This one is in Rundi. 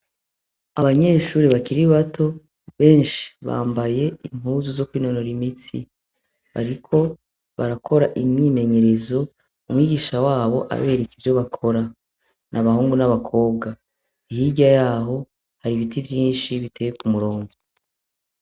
Abanyeshure bakiri bato benshi bambaye impuzu zokwinonora imitsi bariko barakora imyimenyerezo mwigisha wabo abereka ivyo bakora n'abahungu n' abakobwa hirya yaho hari ibiti vyinshi bitey kumurongo.